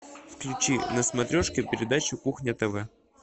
включи на смотрешке передачу кухня тв